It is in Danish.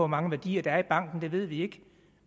mange værdier der er i banken det ved vi ikke